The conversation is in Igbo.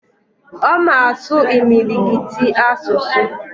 Oma asu imilikiti asusu